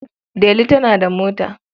Delu tana da mota.